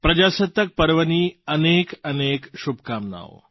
પ્રજાસત્તાક પર્વની અનેકઅનેક શુભકામનાઓ